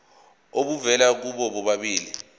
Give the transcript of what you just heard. obuvela kubo bobabili